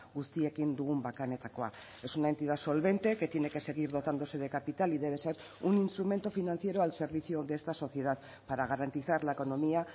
guztiekin dugun bakanetakoa es una entidad solvente que tiene que seguir dotándose de capital y debe ser un instrumento financiero al servicio de esta sociedad para garantizar la economía